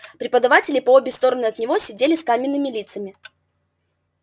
преподаватели по обе стороны от него сидели с каменными лицами